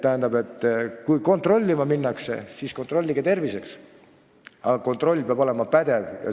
Tähendab, kui kontrollida tahetakse, siis kontrollige terviseks, aga kontroll peab olema pädev.